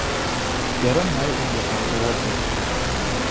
Erinmay unga ham javob berdi.